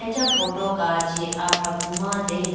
acha photo kachi afraku ma dene.